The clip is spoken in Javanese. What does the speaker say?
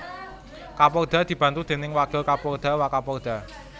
Kapolda dibantu déning Wakil Kapolda Wakapolda